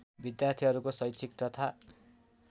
विद्यार्थीहरूको शैक्षिक तथा